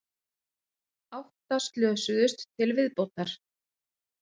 Átta slösuðust til viðbótar